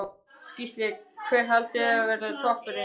Gísli: Hver haldið þið að verði toppurinn?